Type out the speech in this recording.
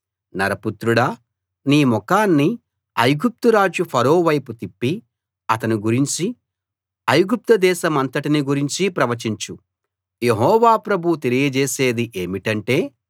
నరపుత్రుడా నీ ముఖాన్ని ఐగుప్తురాజు ఫరో వైపు తిప్పి అతని గురించి ఐగుప్తు దేశమంతటిని గురించి ప్రవచించు యెహోవా ప్రభువు తెలియజేసేది ఏమిటంటే